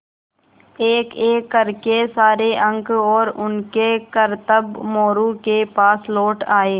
एकएक कर के सारे अंक और उनके करतब मोरू के पास लौट आये